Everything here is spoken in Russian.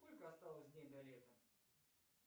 сколько осталось дней до лета